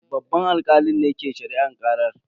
Babban alkalin ne ke shari'ar karar.